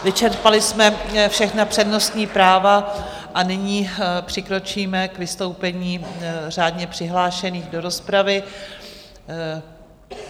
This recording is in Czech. Vyčerpali jsme všechna přednostní práva a nyní přikročíme k vystoupení řádně přihlášených do rozpravy.